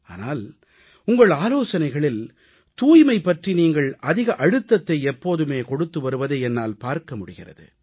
ஆனால் உங்கள் ஆலோசனைகளில் தூய்மை பற்றி நீங்கள் அதிக அழுத்தத்தை எப்போதுமே கொடுத்து வருவதை என்னால் பார்க்க முடிகிறது